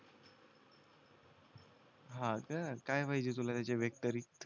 हा का काय पाहिजे तुला याच्या व्यतिरिक्त